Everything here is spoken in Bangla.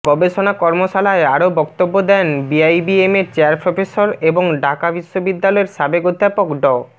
গবেষণা কর্মশালায় আরও বক্তব্য দেন বিআইবিএমের চেয়ার প্রফেসর এবং ঢাকা বিশ্ববিদ্যালয়ের সাবেক অধ্যাপক ড